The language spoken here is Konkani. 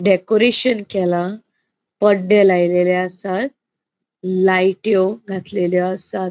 डेकोरेशन केला पड्डे लायलेले आसात. लायटयो घातलेल्यो आसात.